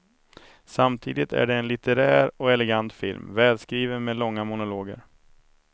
Samtidigt är det en litterär och elegant film, välskriven med långa monologer.